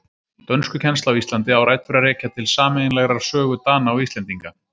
Dönskukennsla á Íslandi á rætur að rekja til sameiginlegrar sögu Dana og Íslendinga.